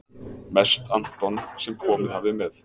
Mest Anton sem komið hafði með